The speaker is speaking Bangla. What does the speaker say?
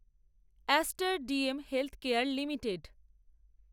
ester DM healthcare limited